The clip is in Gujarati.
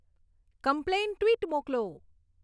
કમ્પ્લેન ટ્વિટ મોકલો